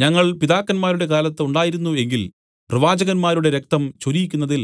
ഞങ്ങൾ പിതാക്കന്മാരുടെ കാലത്ത് ഉണ്ടായിരുന്നു എങ്കിൽ പ്രവാചകന്മാരുടെ രക്തം ചൊരിയിക്കുന്നതിൽ